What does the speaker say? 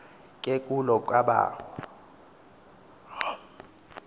ke kulo kabawo